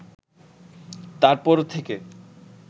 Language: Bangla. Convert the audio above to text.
তারপর থেকে